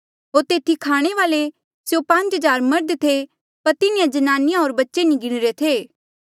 होर तेथी खाणे वाल्ऐ स्यों पांज हज़ार मर्ध थे पर तिन्हें ज्नानिया होर बच्चे नी गिणीरे थे